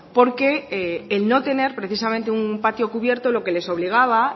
porque el no tener precisamente un patio cubierto lo que les obligaba